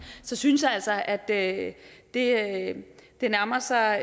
så synes jeg altså at det at det nærmer sig